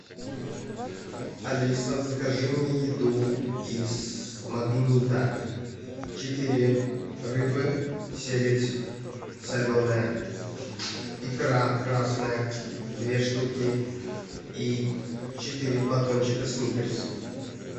алиса закажи мне еду из магнита четыре рыбы сельдь соленая икра красная две штуки и четыре батончика сникерс